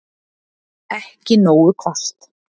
Ekki nógu hvasst